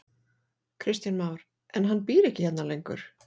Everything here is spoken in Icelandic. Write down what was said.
Kristján Már: En hann býr ekki hérna lengur?